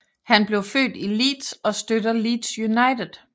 Han blev født i Leeds og støtter Leeds United